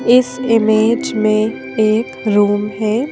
इस इमेज में एक रूम है।